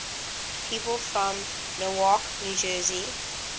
people from newark new jersey